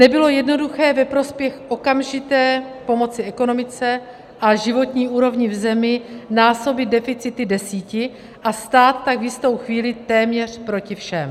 Nebylo jednoduché ve prospěch okamžité pomoci ekonomice a životní úrovni v zemi násobit deficity desíti a stát tak v jistou chvíli téměř proti všem.